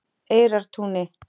Eyrartúni